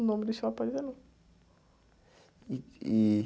O nome do shopping não.